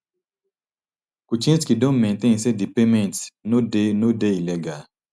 kuczynski don maintain say di payment no dey no dey illegal